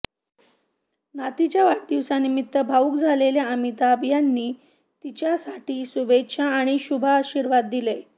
नातीच्या वाढदिवसानिमित्त भावूक झालेल्या अमिताभ यांनी तिच्यासाठी शुभेच्छा आणि शुभाशीर्वाद दिले